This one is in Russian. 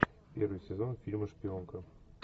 первый сезон фильма шпионка